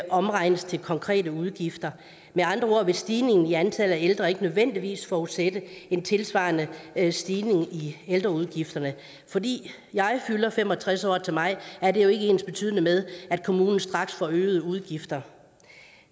omregnes til konkrete udgifter med andre ord vil stigningen i antallet af ældre ikke nødvendigvis forudsætte en tilsvarende stigning i ældreudgifterne fordi jeg fylder fem og tres år til maj er det jo ikke ensbetydende med at kommunen straks får øgede udgifter